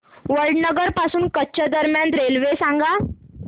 वडनगर पासून कच्छ दरम्यान रेल्वे सांगा